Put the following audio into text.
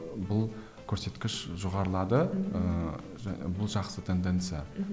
бұл көрсеткіш жоғарылады ыыы бұл жақсы тенденция мхм